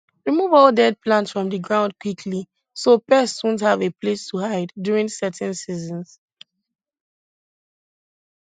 remove all dead plants from the ground quickly so pests wont have a place to hide during certain seasons